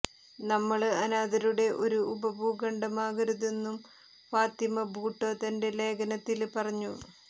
നമ്മള് അനാഥരുടെ ഒരു ഉപഭൂഖണ്ഡമാകരുതെന്നും ഫാത്തിമ ഭൂട്ടോ തന്റെ ലേഖനത്തില് പറഞ്ഞു